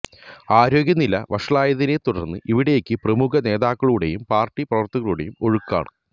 ആരോഗ്യ നില വഷളായതിനെ തുടര്ന്ന് ഇവിടേക്ക് പ്രമുഖ നേതാക്കളുടെയും പാര്ട്ടി പ്രവര്ത്തകരുടെയും ഒഴുക്കാണ്